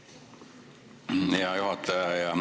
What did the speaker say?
Aitäh, hea juhataja!